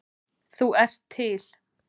Þú ert til.